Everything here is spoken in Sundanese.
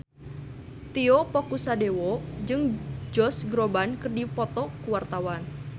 Tio Pakusadewo jeung Josh Groban keur dipoto ku wartawan